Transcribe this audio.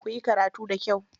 Kuyi karatu da kyau.